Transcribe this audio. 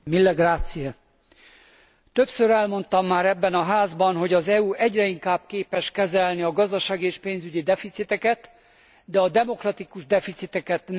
Többször elmondtam már ebben a Házban, hogy az EU egyre inkább képes kezelni a gazdasági és pénzügyi deficiteket, de a demokratikus deficiteket nem vagy csak korlátozottan.